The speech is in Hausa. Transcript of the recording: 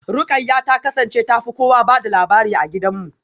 Ruqayyah ta kasance ta fi kowa ba da labari a gidanmu.